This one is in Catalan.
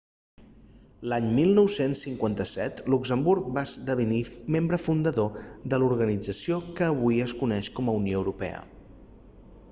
l'any 1957 luxemburg va esdevenir membre fundador de l'organització que avui es coneix com a unió europea